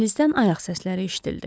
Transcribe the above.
Dəhlizdən ayaq səsləri eşidildi.